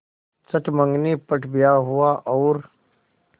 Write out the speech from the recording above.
चट मँगनी पट ब्याह हुआ और